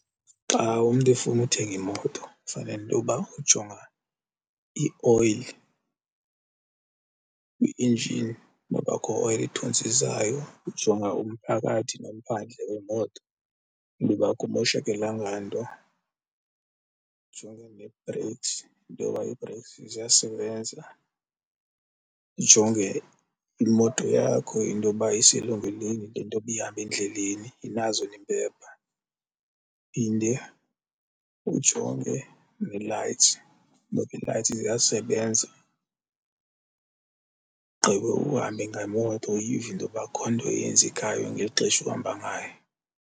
Xa umntu efuna uthenga imoto fanele into yoba ujonga ioyili kwi-engen noba akho oyile ithontsizayo. Ujonga umphakathi nomphandle wemoto into yoba akumoshakelanga nto, ndijonge nee-brakes intoba ii-brakes ziyasebenza, ndijonge imoto yakho intoba iselungelweni lento yoba ihambe endleleni inazo neempepha. Uphinde ujonge nee-lights noba ii-lights ziyasebenza, ugqibe uhambe ngemoto uyive intoba akho nto yenzekayo ngeli xesha uhamba ngayo.